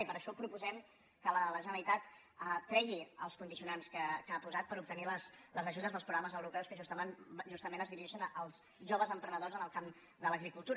i per això proposem que la generalitat tregui els condicionants que ha posat per obtenir les ajudes dels programes europeus que justament es dirigeixen als joves emprenedors en el camp de l’agricultura